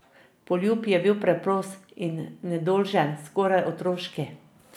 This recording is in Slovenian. Poljub je bil preprost in nedolžen, skoraj otroški.